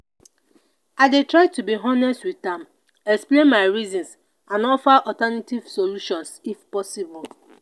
i dey try to be honest with am explain my reasons and offer alternative solutions if possible.